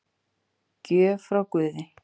Gjöf frá guði